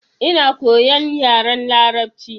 Ina koyan yaren larabci.